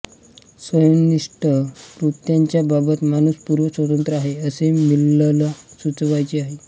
स्वयंनिष्ठ कृत्यांच्या बाबत माणूस पूर्ण स्वतंत्र आहे असे मिलला सुचवायचे आहे